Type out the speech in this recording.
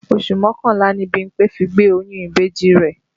Oṣù mọ́kànlá ni Bímpé fi gbé oyún ìbejì rẹ̀